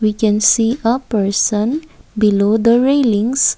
we can see uh person below the railings.